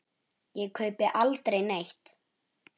Ég kaupi aldrei neitt.